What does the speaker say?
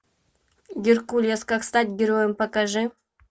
геркулес как стать героем покажи